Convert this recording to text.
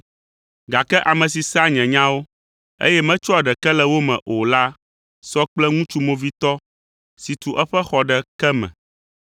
Gake ame si sea nye nyawo, eye metsɔa ɖeke le wo me o la sɔ kple ŋutsu movitɔ si tu eƒe xɔ ɖe ke me.